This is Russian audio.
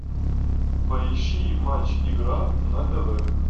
поищи матч игра на тв